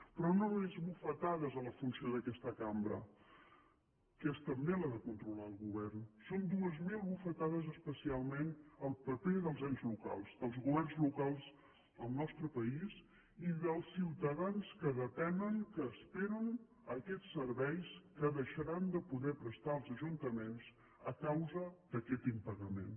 però no només bufetades a la funció d’aquesta cambra que és també la de controlar el govern són dues mil bufetades especialment al paper dels ens locals dels governs locals del nostre país i dels ciutadans que depenen que esperen aquests serveis que deixaran de poder prestar els ajuntaments a causa d’aquest impagament